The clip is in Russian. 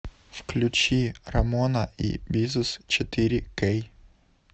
включи рамона и бизус четыре кей